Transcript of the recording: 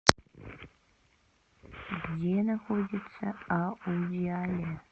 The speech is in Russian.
где находится аудиале